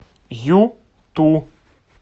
юту